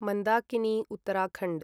Mandakini Uttarakhand